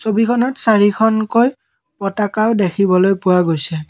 ছবিখনত চাৰিখনকৈ পতাকাও দেখিবলৈ পোৱা গৈছে।